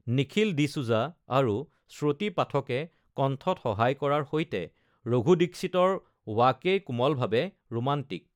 নিখিল ডি'চুজা আৰু শ্ৰুতি পাঠকে কণ্ঠত সহায় কৰাৰ সৈতে, ৰঘু দীক্ষিতৰ ৱাকেই কোমলভাৱে ৰোমান্টিক।